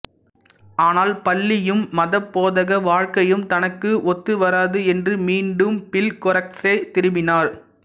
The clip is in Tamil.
ஆனால் பள்ளியும் மதபோதக வாழ்க்கையும் தனக்கு ஒத்து வராது என்று மீண்டும் பிள்கொரசுக்கே திரும்பினார்